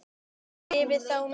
Skrifið þá niður.